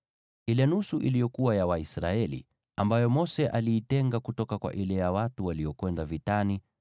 Ile nusu iliyokuwa ya Waisraeli, ambayo Mose aliitenga kutoka kwa ile ya watu waliokwenda vitani,